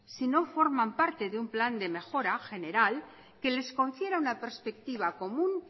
si no forman parte de un plan de mejora general que les confiera una perspectiva común